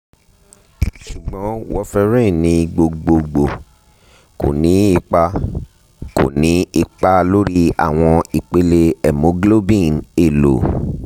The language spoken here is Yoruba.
sugbon warferrin ni gbogbogbo ko ni ipa ko ni ipa lori awọn ipele hemoglobin elo